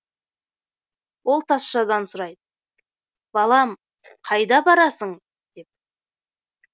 ол тазшадан сұрайды балам қайда барасын деп